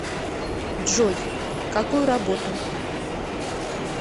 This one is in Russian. джой какую работу